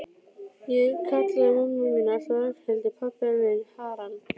Ég kallaði mömmu mína alltaf Ragnhildi, pabba minn Harald.